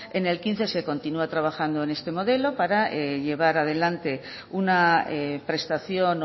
en el dos mil quince se continua trabajando en este modelo para llevar a adelante una prestación